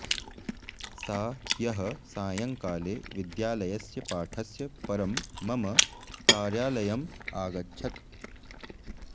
सा ह्यः सायंकाले विद्यालयस्य पाठस्य परं मम कार्यालयम् आगच्छत्